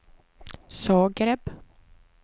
Zagreb